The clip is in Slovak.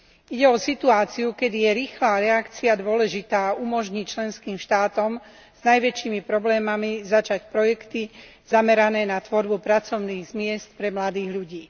Ide o situáciu, kedy je rýchla reakcia dôležitá a umožní členským štátom s najväčšími problémami začať projekty zamerané na tvorbu pracovných miest pre mladých ľudí.